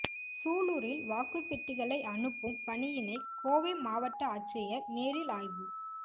சூலூரில் வாக்குப் பெட்டிகளை அனுப்பும் பணியினை கோவை மாவட்ட ஆட்சியா் நேரில் ஆய்வு